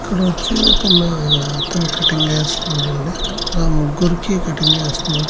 ఇక్కడొచ్చి ఒక మేత్తని కటింగ్ గీస్తున్నాడండి అలా ముగ్గురికి కటింగ్ గీస్తున్నాడు.